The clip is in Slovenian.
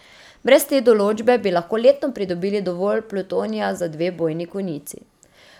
Brez te določbe bi lahko letno pridobili dovolj plutonija za dve bojni konici.